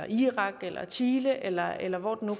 irak eller chile eller eller hvor det nu